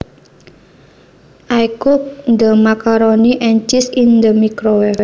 I cooked the macaroni and cheese in the microwave